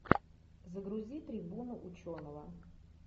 загрузи трибуну ученого